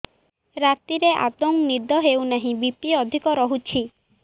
ରାତିରେ ଆଦୌ ନିଦ ହେଉ ନାହିଁ ବି.ପି ଅଧିକ ରହୁଛି